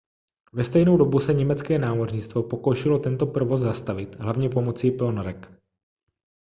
ve stejnou dobu se německé námořnictvo pokoušelo tento provoz zastavit hlavně pomocí ponorek